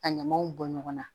Ka ɲamaw bɔ ɲɔgɔn na